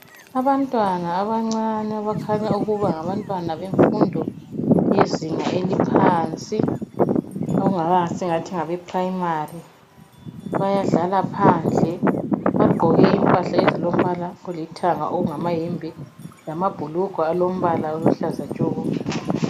Abantwana abancane abakhanya ukuba ngabantwana bemfundo yezinga eliphansi esingathi ngabeprimary bayadlala phandle. Bagqoke impahla ezilombala olithanga okungamayembe lamabhulugwe alombala oluhlaza tshoko.